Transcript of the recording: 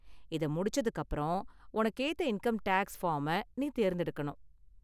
இத முடிச்சதுக்கு அப்பறம், உனக்கு ஏத்த இன்கம் டேக்ஸ் ஃபார்ம நீ தேர்ந்தெடுக்கணும்.